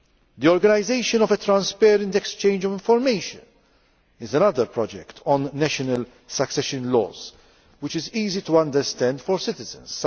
The organisation of a transparent exchange of information is another project on national succession laws which is easy to understand for citizens.